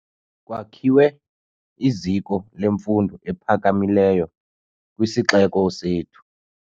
Kwakhiwe iziko lemfundo ephakamileyo kwisixeko sethu.